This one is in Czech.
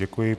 Děkuji.